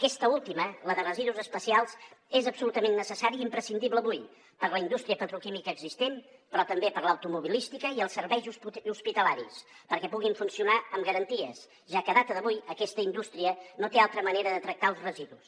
aquesta última la de residus especials és absolutament necessària i imprescindible avui per a la indústria petroquímica existent però també per a l’automobilística i els serveis hospitalaris perquè puguin funcionar amb garanties ja que a data d’avui aquesta indústria no té altra manera de tractar els residus